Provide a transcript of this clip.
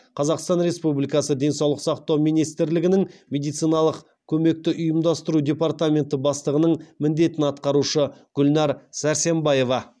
қазақстан республикасы денсаулық сақтау министрлігінің медициналық көмекті ұйымдастыру департаменті бастығының міндетін атқарушы гүлнәр сәрсенбаева